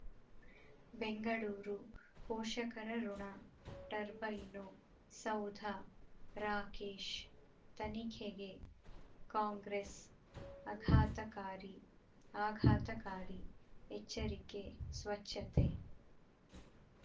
ಬೆಂಗಳೂರು ಪೋಷಕರಋಣ ಟರ್ಬೈನು ಸೌಧ ರಾಕೇಶ್ ತನಿಖೆಗೆ ಕಾಂಗ್ರೆಸ್ ಆಘಾತಕಾರಿ ಆಘಾತಕಾರಿ ಎಚ್ಚರಿಕೆ ಸ್ವಚ್ಛತೆ